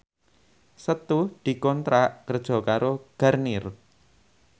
Setu dikontrak kerja karo Garnier